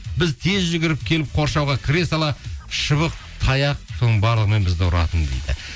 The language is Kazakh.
біз тез жүгіріп келіп қоршауға кіре сала шыбық таяқ соның барлығымен бізді ұратын дейді